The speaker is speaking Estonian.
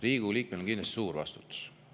Riigikogu liikmel on kindlasti suur vastutus.